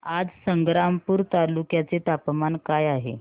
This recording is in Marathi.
आज संग्रामपूर तालुक्या चे तापमान काय आहे